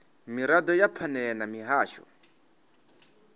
mirado ya phanele na muhasho